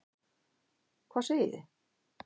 Hvað segið þið?